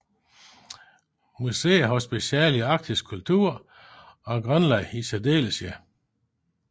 Museet har speciale i arktisk kultur og Grønland i særdeleshed